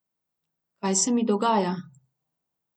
Kaj se mi dogaja?